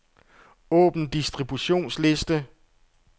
Åbn distributionsliste.